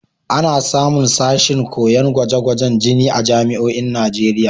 Ana samun sashin koyon gwaje-gwajen jini a jami'oin Najeriya.